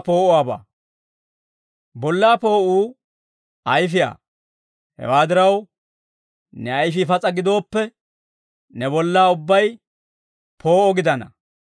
«Bollaa poo'uu ayfiyaa; hewaa diraw, ne ayfii pas'a gidooppe, ne bollaa ubbay poo'o gidana.